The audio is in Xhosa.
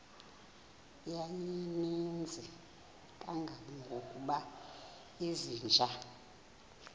yayininzi kangangokuba izinja